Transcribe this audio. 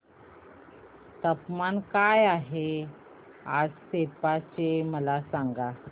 तापमान काय आहे आज सेप्पा चे मला सांगा